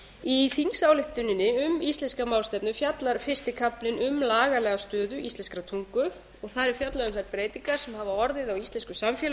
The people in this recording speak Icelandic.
í þingsályktuninni um íslenska málstefnu fjallar fyrsti kaflinn um lagalega stöðu íslenskrar tungu og það er fjallað um þær breytingar sem hafa orðið á íslensku samfélagi á